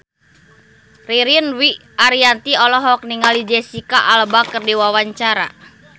Ririn Dwi Ariyanti olohok ningali Jesicca Alba keur diwawancara